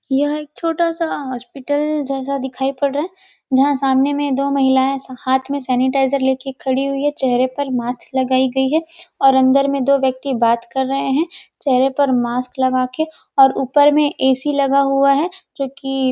यह एक छोटा सा हॉस्पिटल जैसा दिखाई पड़ रहा है जहां सामने में दो महिलाएं हाथ में सैनिटाइजर लेके खड़ी हुई है चेहरे पर मास्क लगाई गई है और अंदर में दो व्यक्ति बात कर रहे हैं चेहरे पर मास्क लगा के और ऊपर में ए_सी लगा हुआ है जो कि --